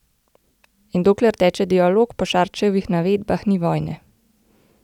In dokler teče dialog, po Šarčevih navedbah ni vojne.